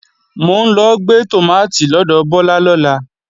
Mò ń lọ gbé tòmátì lọ́dọ̀ Bọ́lá lọ́la